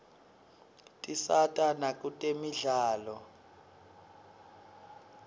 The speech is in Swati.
tisata nakutemidlalo